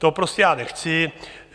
To prostě já nechci.